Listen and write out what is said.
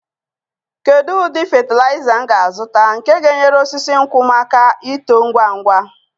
Kedu ụdị fatịlaịza m ga-azụta nke ga-enyere osisi nkwụ m aka ito ngwa ngwa?